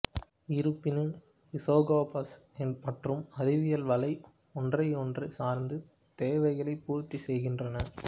இருப்பினும் இசுகோபசு மற்றும் அறிவியல் வலை ஒன்றையொன்று சார்ந்து தேவைகளைப் பூர்த்திசெய்கின்றன